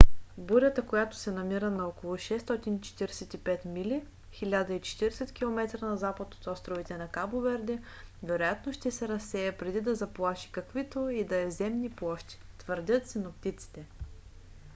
бурята която се намира на около 645 мили 1040 км на запад от островите на кабо верде вероятно ще се разсее преди да заплаши каквито и да е земни площи твърдят синоптиците